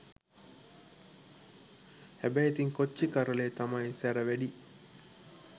හැබැයි ඉතිං කොච්චි කරලෙ තමයි සැර වැඩි